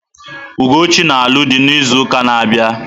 Ugochi na-alụ dị n'izu na-abịa.